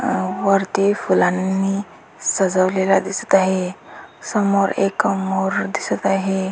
अ वरती फुलांनी सजवलेल दिसत आहे समोर एक मोर दिसत आहे.